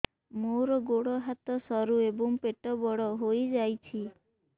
ମୋର ଗୋଡ ହାତ ସରୁ ଏବଂ ପେଟ ବଡ଼ ହୋଇଯାଇଛି